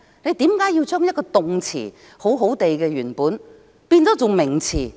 為何要將一個好好的動詞無故變成名詞？